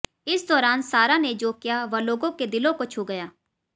इस दौरान सारा ने जो किया वह लोगों के दिलों को छू गया